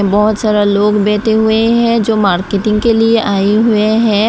बहोत सारा लोग बैठे हुए हैं जो मार्केटिंग के लिए आए हुए हैं।